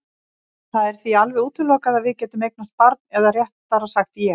Það er því alveg útilokað að við getum eignast barn eða réttara sagt ég.